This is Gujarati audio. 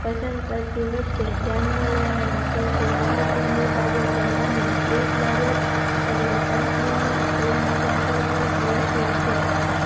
પસન્દ કરતી વખતે ધાયનમાં લેવાની સૌથી મહત્વ ની બાબતોમાંની એક બાબત એટલે company નો Clan Settlement Ratio છે